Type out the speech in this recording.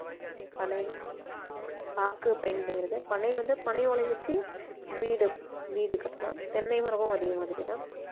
பனை பாக்கு பயன்படுகிறது பனை வந்து பனை ஓலை வெச்சி வீடு வீடு கட்டலாம் தென்னை மரமும் அதே மாதிரி தான்